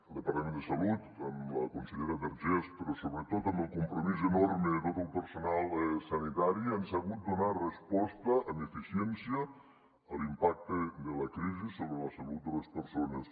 el departament de salut amb la consellera vergés però sobretot amb el compromís enorme de tot el personal sanitari han sabut donar resposta amb eficiència a l’impacte de la crisi sobre la salut de les persones